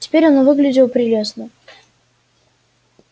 теперь он выглядел прелестно